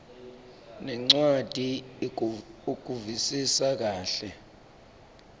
nencwadzi ukuvisisa kahle